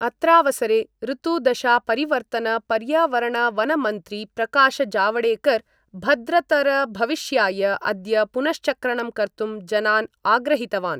अत्रावसरे ऋतुदशापरिवर्तनपर्यावरणवनमन्त्री प्रकाशजावडेकर भद्रतरभविष्याय अद्य पुनश्चक्रणं कर्तुं जनान् आग्रहीतवान्।